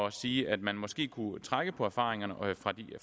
at sige at man måske kunne trække på erfaringerne